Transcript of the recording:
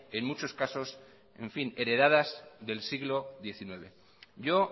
en muchos casos heredadas del siglo diecinueve yo